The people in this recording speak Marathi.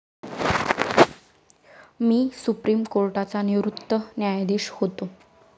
मी सुप्रीम कोर्टाचा निवृत्त न्यायाधीश होतो.